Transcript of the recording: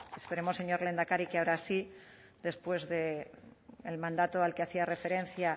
esperemos señor lehendakari que ahora sí después del mandato al que hacía referencia